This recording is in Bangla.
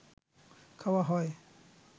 খাওয়া হয়